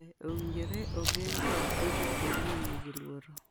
Be owinjore ogeng’ kawo piche kuonde ma nigi luoro?